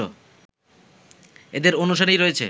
এদের অনুসারী রয়েছে